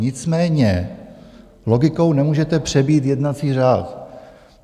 Nicméně logikou nemůžete přebít jednací řád.